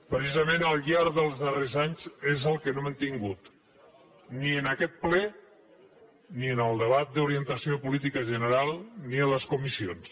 precisament al llarg dels darrers anys és el que no hem tingut ni en aquest ple ni en el debat d’orientació de política general ni en les comissions